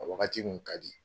O wagati tun ka di